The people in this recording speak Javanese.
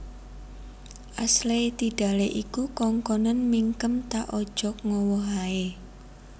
Ashley Tidale iku kongkonen mingkem ta ojok ngowoh ae